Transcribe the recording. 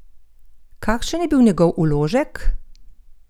Kakšen je bil njegov vložek?